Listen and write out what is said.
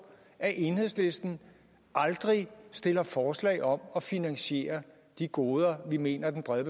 at enhedslisten aldrig stiller forslag om at finansiere de goder vi mener den brede